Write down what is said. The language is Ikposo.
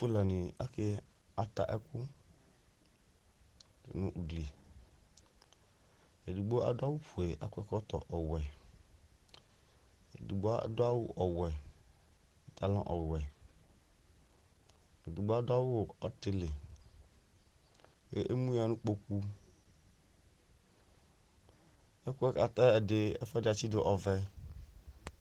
aluɛdɩnɩ ka ta ɛkʊ nʊ ugli ava, edigbo adʊ awʊ fue kʊ akɔ ɛkɔtɔ ɔwɛ, edigbo adʊ awu ɔwɛ nʊ pantalon ɔwɛ, edigbo adʊ awu ɔtɩlɩ, kʊ emuya nʊ ikpoku, ɛkʊɛ kʊ ata yɛ ɛfuɛdɩ atsidu ɔvɛ